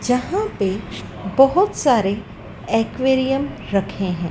जहां पे बहोत सारे एक्वेरियम रखे हैं।